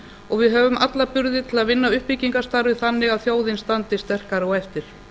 og við höfum alla burði til að vinna uppbyggingarstarfið þannig að þjóðin standi sterkari á eftir